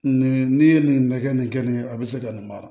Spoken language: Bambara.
Nin n'i ye nin bɛɛ kɛ nin kɛ nin a be se ka nin mara